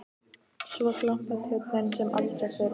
Svo glampar Tjörnin sem aldrei fyrr.